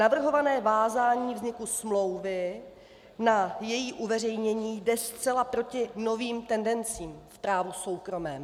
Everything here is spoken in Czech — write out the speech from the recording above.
Navrhované vázání vzniku smlouvy na její uveřejnění jde zcela proti novým tendencím v právu soukromém.